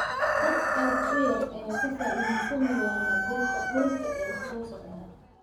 Dad aad u yar ayaa ka faa'iidaysan doona biilka dhulka ee soo socda.